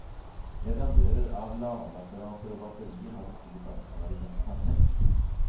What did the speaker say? Leverandører av ladeapparater og batterier har et stort ansvar i denne sammenheng.